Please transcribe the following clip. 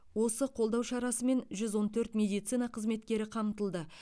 осы қолдау шарасымен жүз он төрт медицина қызметкері қамтылды